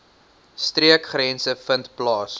streekgrense vind plaas